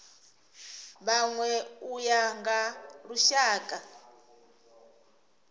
vhanwe u ya nga lushaka